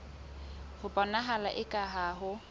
ho bonahala eka ha ho